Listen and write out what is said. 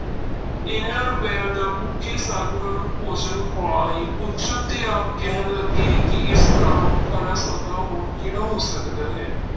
ਇਹਨਾਂ ਰੁਪਇਆਂ ਦਾ ਭੁੱਖੇ ਸਾਧੂਆਂ ਨੂੰ ਭੋਜਨ ਖਵਾ ਆਏ, ਪੁੱਛਣ ਤੇ ਆਪ ਕਹਿਣ ਲੱਗੇ ਕਿ ਇਸ ਨਾਲੋਂ ਖਰਾ ਸੌਦਾ ਹੋਰ ਕਿਹੜਾ ਹੋ ਸਕਦਾ ਹੈ।